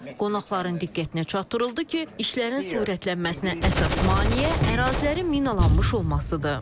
Qonaqların diqqətinə çatdırıldı ki, işlərin sürətlənməsinə əsas maneə ərazilərin minalanmış olmasıdır.